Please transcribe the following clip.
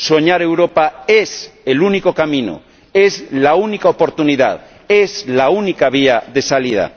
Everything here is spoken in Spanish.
Soñar Europa es el único camino, es la única oportunidad, es la única vía de salida.